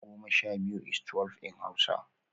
(ten) twelve is twelve in Hausa